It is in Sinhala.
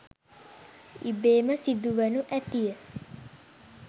ඉබේම සිදුවනු ඇතිය.